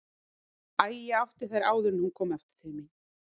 Æ, ég átti þær áður en hún kom aftur til mín.